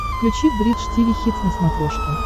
включи бридж тиви хитс на смотрешке